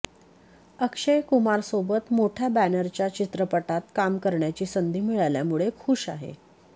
अक्षय कुमारसोबत मोठ्या बॅनरच्या चित्रपटात काम करण्याची संधी मिळाल्यामुळे खूश आहे